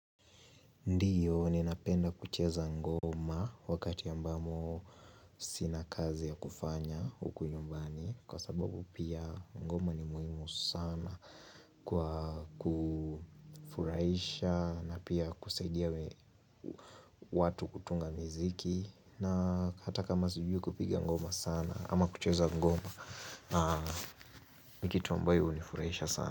Ndiyo ninapenda kucheza ngoma wakati ambamo sina kazi ya kufanya huku nyumbani Kwa sababu pia ngoma ni muhimu sana kwa kufurahisha na pia kusaidia watu kutunga miziki na hata kama sijui kupiga ngoma sana ama kucheza ngoma na kitu ambayo hunifuraisha sana.